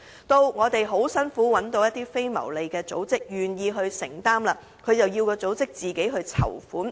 當我們辛苦找到一間非牟利組織願意承擔，政府又要該組織自行籌款。